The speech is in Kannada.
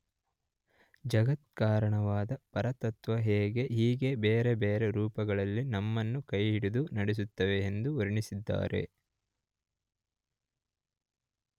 ಜಗತ್ಕಾರಣವಾದ ಪರತತ್ತ್ವವೇ ಹೀಗೆ ಬೇರೆ ಬೇರೆ ರೂಪಗಳಲ್ಲಿ ನಮ್ಮನ್ನು ಕೈಹಿಡಿದು ನಡೆಸುತ್ತದೆ ಎಂದು ವರ್ಣಿಸಿದ್ದಾರೆ.